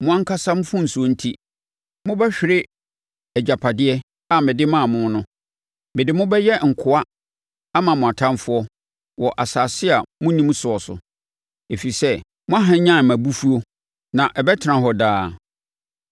Mo ankasa mfomsoɔ enti, mobɛhwere agyapadeɛ + 17.4 agyapadeɛ—Kanaan asase. a mede maa mo no. Mede mo bɛyɛ nkoa ama mo atamfoɔ wɔ asase a monnim soɔ so, ɛfiri sɛ moahwanyane mʼabufuo, na ɛbɛtena hɔ daa.”